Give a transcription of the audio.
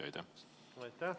Aitäh!